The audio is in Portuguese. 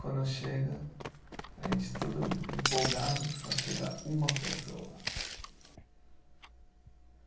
Quando chega, a gente todo empolgado, só chega uma pessoa.